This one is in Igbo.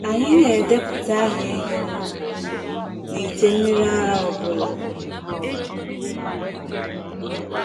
Anyị na-edepụta aha ehi na ụbọchị n’ite mmiri ara ọ bụla.